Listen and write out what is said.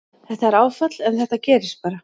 Þetta er áfall en þetta gerist bara.